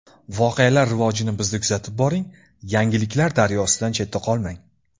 Voqealar rivojini bizda kuzatib boring, yangiliklar daryosidan chetda qolmang!